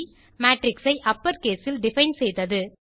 matrix ஐ upper case இல் define செய்தது